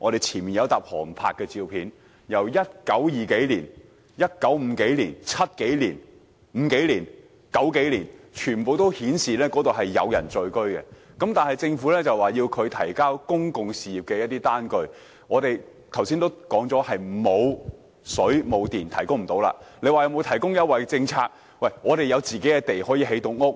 前面有一疊航拍照片，自1920年代、1950年代、1970至1990年代，全部均顯示那裏是有人聚居的，但政府卻要求他們提供公用事業的單據，我們剛才已經說明，村落因為當時並無水電供應而無法提供，至於曾否獲提供優惠政策方面，村民有自己的土地可以建屋。